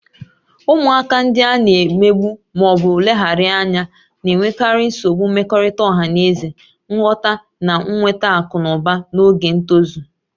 Ụmụaka ndị a na-emegbu ma ọ bụ leghaara anya na-enwekarị nsogbu mmekọrịta ọha na eze, nghọta, na nweta akụ na ụba n'oge ntozu